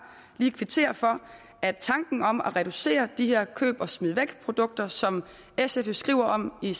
lige kvittere for at tanken om at reducere omfanget af de her køb og smid væk produkter som sf jo skriver om i